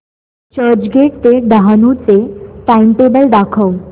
चर्चगेट ते डहाणू चे टाइमटेबल दाखव